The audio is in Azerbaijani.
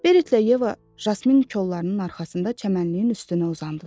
Berit və Yeva yasmin kollarının arxasında çəmənliyin üstünə uzandılar.